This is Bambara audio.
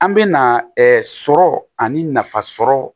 An bɛ na sɔrɔ ani nafa sɔrɔ